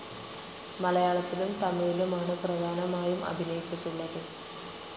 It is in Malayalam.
മലയാളത്തിലും തമിഴിലുമാണ് പ്രധാനമായും അഭിനയിച്ചിട്ടുള്ളത്.